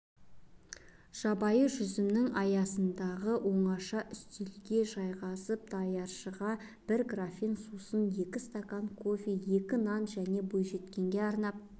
жабайы жүзімнің саясындағы оңаша үстелге жайғасып даяшыға бір графин сусын екі стакан кофе екі нан және бойжеткенге арнап